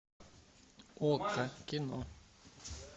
окко кино